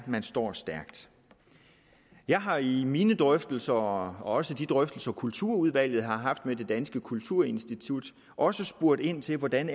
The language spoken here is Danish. man står stærkt jeg har i mine drøftelser og også i de drøftelser kulturudvalget har haft med det danske kulturinstitut også spurgt ind til hvordan